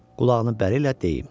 Qulağının bəri ilə deyim.